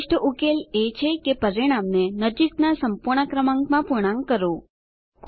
શ્રેષ્ઠ ઉકેલ એ છે કે પરિણામને નજીકનાં સંપૂર્ણ ક્રમાંકમાં પૂર્ણાંક કરો